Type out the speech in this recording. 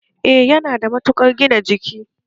Eh yana da matukar gina jiki